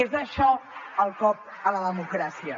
és això el cop a la democràcia